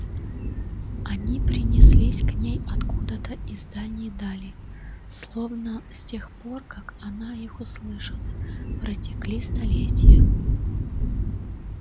они принеслись к ней откуда-то из дальней дали словно с тех пор как она их услышала протекли столетия